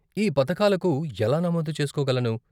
ఈ పథకాలకు ఎలా నమోదు చేస్కోగలను?